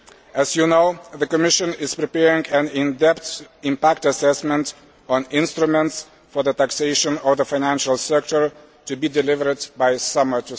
As you know, the Commission is preparing an in depth impact assessment on instruments for the taxation of the financial sector, to be delivered by summer